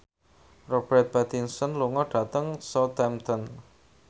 Robert Pattinson lunga dhateng Southampton